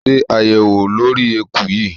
Ṣe àyẹ̀wò lórí eku yìí!